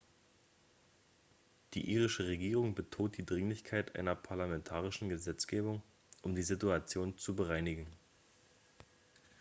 die irische regierung betont die dringlichkeit einer parlamentarischen gesetzgebung um die situation zu bereinigen